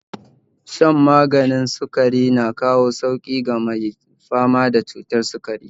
Shan maganin sukari na kawo sauƙi ga mai fama da cutar sukari